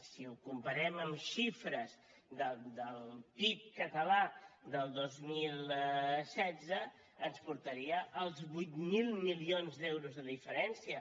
si ho comparem amb xifres del pib català del dos mil setze ens portaria als vuit mil milions d’euros de diferència